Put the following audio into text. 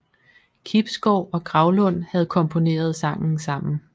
Kibsgaard og Graulund havde komponeret sangen sammen